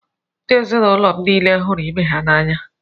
Ndị ezinụlọ m niile hụrụ ibe ha n’anya.